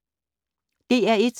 DR1